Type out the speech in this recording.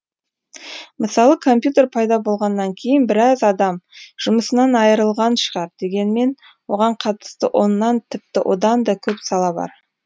мысалы компьютер пайда болғаннан кейін біраз адам жұмысынан айырылған шығар дегенмен оған қатысты оннан тіпті одан да көп сала бар